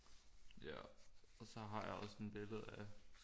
Ja og så har jeg også sådan et billede af